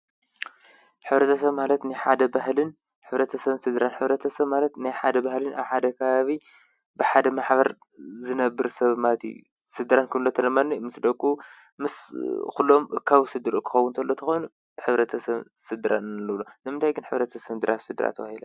ሕብረተሰብ ማለት ንሓደ ባህልን ሕብረተ ሰብ ስድራን ሕብረተ ሰብ ማለት ናይ ሓደ ባህልን ሓደ ከባቢ ብሓደ ማሕበር ዘነብር ሰብ ማለት አዩ፡፡ ስድራ ክንብል ከለና ድማኒ ምስ ደቁ ምስ ዂሎም ካብ ስድርኡ ክኸዉን እንተሎ እንተኾይኑ ሕብረተ ሰብ ስድራን ንብሎ፡፡ ንምንታይ ግን ሕብረተ ሰብን ድራን ፣ስድራ ተባሂሎም?